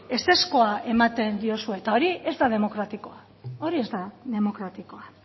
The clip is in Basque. ezezkoa ematen diozue eta hori ez da demokratikoa hori ez da demokratikoa